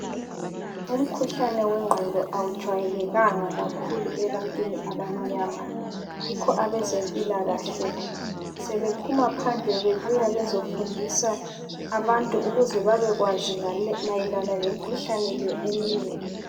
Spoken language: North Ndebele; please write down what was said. Umkhuhlane wengqondo awujwayelekanga kakhulu ebantwini abamnyama, yikho abezempilakahle sebephuma phandle bebuya bezofundisa abantu ukuze babekwazi mayelana lemikhuhlane le eminengi.